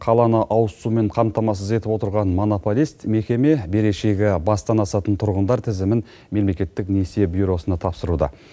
қаланы ауыз сумен қамтамасыз етіп отырған монополист мекеме берешегі бастан асатын тұрғындар тізімін мемлекеттік несие бюросына тапсыруда